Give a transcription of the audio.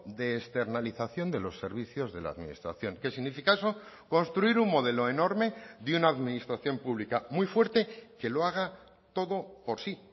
de externalización de los servicios de la administración qué significa eso construir un modelo enorme de una administración pública muy fuerte que lo haga todo por sí